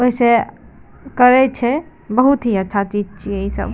ओय से करे छै बहुत ही अच्छा चीज छीये इ सब।